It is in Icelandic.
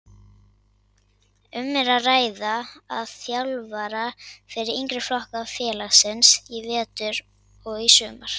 Um er að ræða þjálfara fyrir yngri flokka félagsins í vetur og í sumar.